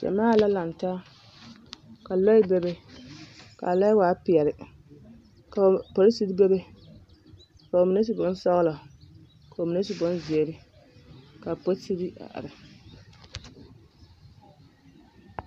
Gyamaa la lantaa ka lɔɛ bebe ka a ɔɛ waa peɛle ka porisiri bebe ka ba mine su bonsɔɡelɔ ka ba mine su bonziiri ka a porisiri a are.